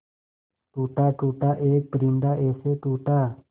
टूटा टूटा एक परिंदा ऐसे टूटा